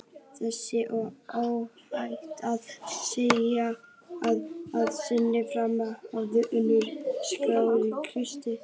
Reyndar er óhætt að segja að með sinni frammistöðu hafi Unnur skákað Kristjáni.